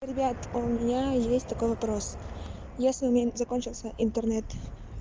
ребят у меня есть такой вопрос если у меня закончился интернет